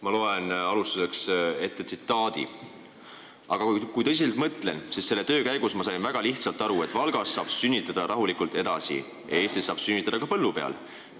Ma loen alustuseks ette tsitaadi: "Aga kui tõsiselt mõtlen, siis selle töö käigus ma sain väga lihtsalt aru, et Valgas saab sünnitada rahulikult edasi, Eestis saab sünnitada ka põllu peal.